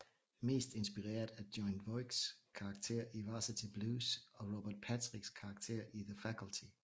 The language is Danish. Mest inspireret af Jon Voights karakter i Varsity Blues og Robert Patriks karakter i The Faculty